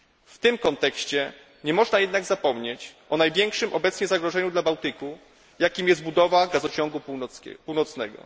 W tym kontekście nie można jednak zapomnieć o największym obecnie zagrożeniu dla Bałtyku, jakim jest budowa Gazociągu Północnego.